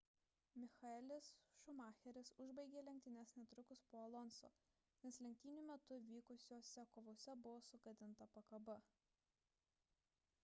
michaelis schumacheris užbaigė lenktynes netrukus po alonso nes lenktynių metu vykusiose kovose buvo sugadinta pakaba